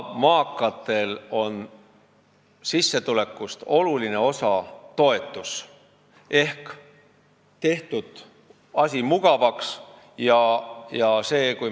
Maakatel tuleb sissetulekust oluline osa toetusena ehk asi on mugavaks tehtud.